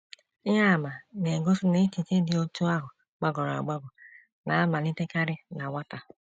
Ihe àmà na - egosi na echiche dị otú ahụ gbagọrọ agbagọ na - amalitekarị na nwata.